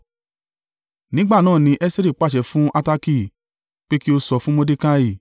Nígbà náà ni Esteri pàṣẹ fún Hataki pé kí ó sọ fún Mordekai,